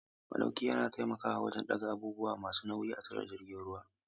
Maɗauki yana taimakawa wajen ɗaga abubuwa masu nauyi a tashar jiragen ruwa.